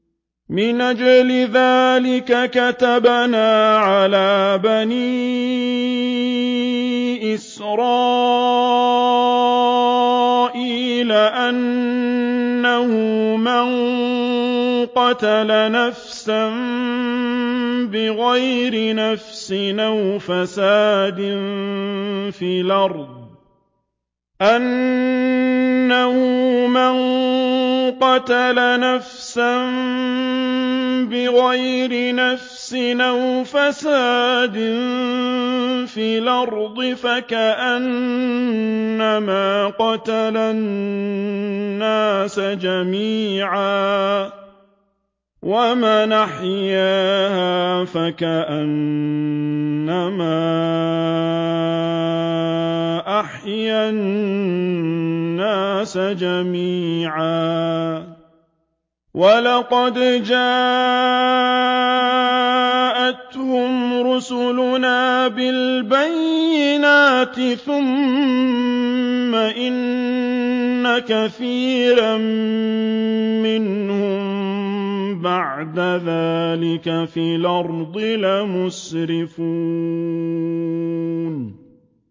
مِنْ أَجْلِ ذَٰلِكَ كَتَبْنَا عَلَىٰ بَنِي إِسْرَائِيلَ أَنَّهُ مَن قَتَلَ نَفْسًا بِغَيْرِ نَفْسٍ أَوْ فَسَادٍ فِي الْأَرْضِ فَكَأَنَّمَا قَتَلَ النَّاسَ جَمِيعًا وَمَنْ أَحْيَاهَا فَكَأَنَّمَا أَحْيَا النَّاسَ جَمِيعًا ۚ وَلَقَدْ جَاءَتْهُمْ رُسُلُنَا بِالْبَيِّنَاتِ ثُمَّ إِنَّ كَثِيرًا مِّنْهُم بَعْدَ ذَٰلِكَ فِي الْأَرْضِ لَمُسْرِفُونَ